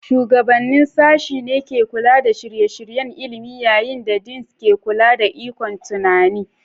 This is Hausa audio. Shugabannin Sashen ne ke kula da shirye-shiryen ilimi, yayin da Deans ke kula da ikon tunani.